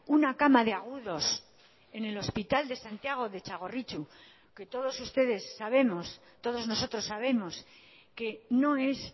una cama de agudos en el hospital de santiago o de txagorritxu que todos nosotros sabemos que no es